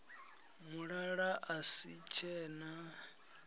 mulala a si tshe na